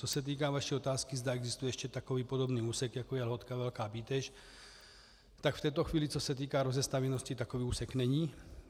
Co se týká vaší otázky, zda existuje ještě takový podobný úsek jako je Lhotka - Velká Bíteš, tak v této chvíli, co se týká rozestavěnosti, takový úsek není.